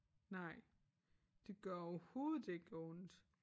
Nej det gør overhovedet ikke ondt